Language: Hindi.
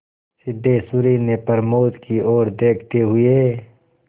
सिद्धेश्वरी ने प्रमोद की ओर देखते हुए